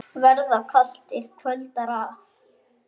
Verða kalt, er kvöldar að.